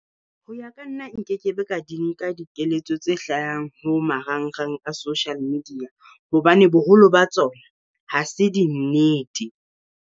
Ho ya ka nna nkekebe ka di nka dikeletso tse hlahang ho marangrang a social media, hobane boholo ba tsona ha se dinnete.